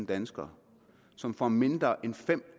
danskere som får mindre end fem